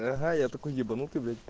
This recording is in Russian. ага я такой ебанутый блять